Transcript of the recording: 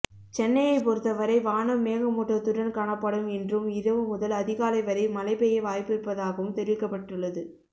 சென்னையை பொறுத்தவரை வானம் மேகமூட்டத்துடன் காணப்படும் என்றும் இரவு முதல் அதிகாலை வரை மழை பெய்ய வாய்ப்பிருப்பதாகவும் தெரிவிக்கப்பட்டுள்ளது